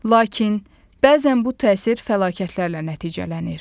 Lakin bəzən bu təsir fəlakətlərlə nəticələnir.